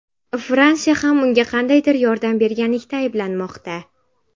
Fransiya ham unga qandaydir yordam berganlikda ayblanmoqda.